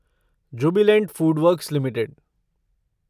Jubilant Foodworks limited